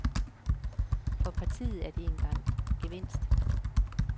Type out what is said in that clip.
For partiet er det en gevinst.